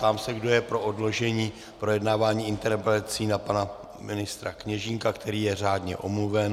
Ptám se, kdo je pro odložení projednávání interpelací na pana ministra Kněžínka, který je řádně omluven?